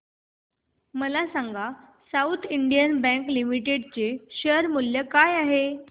मला सांगा south Indian bank limited चे शेअर मूल्य काय आहे